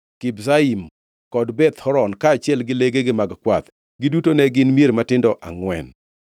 Kibzaim kod Beth Horon, kaachiel gi legegi mag kwath. Giduto ne gin mier matindo angʼwen.